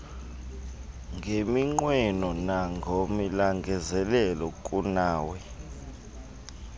ngeminqweno nangolangazelelo kunawe